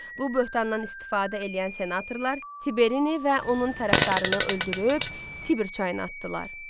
Bu böhtandan istifadə eləyən senatorlar Tiberini və onun tərəfdarını öldürüb Tiber çayına atdılar.